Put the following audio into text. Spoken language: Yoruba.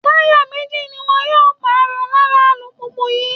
Táyà méjì ni wọn yóò pààrọ̀ lára alùpùpù yìí